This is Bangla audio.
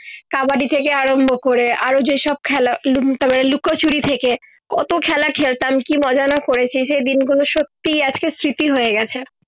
কাবাডি থেকে আরম্ভ করে আরো যে সব খেলা লুন্ড লুকোচুরি থেকে, কত খেলা খেলতাম কি মজা না করেছি সে দিন গুলো সত্যি এক্সের স্মৃতি হয়ে গেছে